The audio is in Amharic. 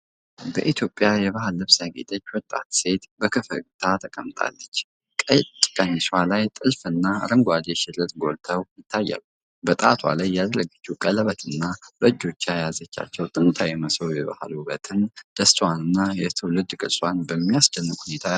በኢትዮጵያዊ የባህል ልብስ ያጌጠች ወጣት ሴት በፈገግታ ተቀምጣለች። ነጭ ቀሚሷ ላይ ጥልፍና አረንጓዴ ሽርጥ ጎልተው ይታያሉ። በጣቷ ላይ ያደረገችው ቀለበትና በእጆቿ የያዘችው ጥንታዊ መሶብ የባህል ውበቷን፣ ደስታዋንና የትውልድ ቅርሷን በሚያስደንቅ ሁኔታ ያጎላል።